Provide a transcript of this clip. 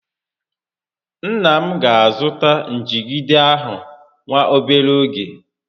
Nna m ga azụta njigide ahụ nwa obere ógè